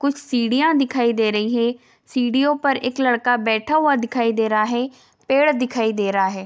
कुछ सीढ़िया दिखाई दे रही है | सीढ़ीओ पर एक लड़का बैठा हुआ दिखाई दे रहा है | पेड़ दिखाई दे रहा है |